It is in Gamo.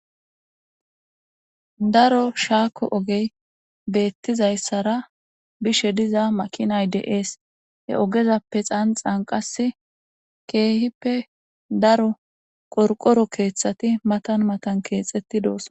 Daro shaako oge beziaysara bizze dishsha makinay beththishshe dees he ogezappe xanxan qaase kehippe daroti qorqoro keththati maththan maththan kexxetidosona